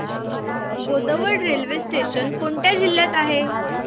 Bodwad railway station कोणत्या जिल्ह्यात आहे